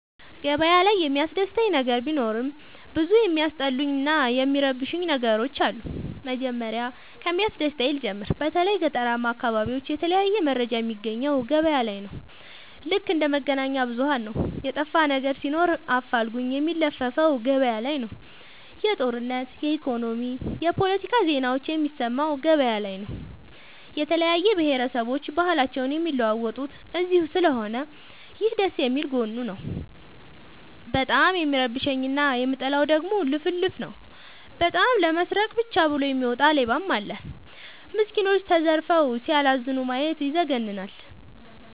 ገበያ ላይ የሚያስደስ ነገር ቢኖርም ብዙ የሚያስጠሉኝ እና የሚረብሸኝ ነገሮች አሉ። መጀመሪያ ከሚያስደስተኝ ልጀምር በተለይ ገጠራማ አካቢዎች የተለያየ መረጃ የሚያገኘው ገበያ ነው። ልክ እንደ መገናኛብዙኋን ነው የጠፋነገር ሲኖር አፋልጉኝ የሚለፍፈው ገበያላይ ነው። የጦርነት የኢኮኖሚ የፓለቲካ ዜናዎችን የሚሰማው ገበያ ላይ ነው። የተለያየ ብሆረሰቦች ባህልአቸውን የሚለዋወጡት እዚስለሆነ ይህ ደስየሚል ጎኑ ነው። በጣም የሚረብሸኝ እና የምጠላው ደግሞ ልፍልፍ ነው። በጣም ለመስረቃ ብቻ ብሎ የሚወጣ ሌባም አለ። ሚስኩኖች ተዘርፈው ሲያላዝኑ ማየት ይዘገንናል።